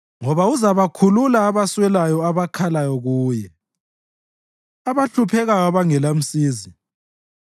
Ngoba uzabakhulula abaswelayo abakhalayo kuye, abahluphekayo abangelamsizi.